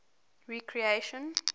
recreation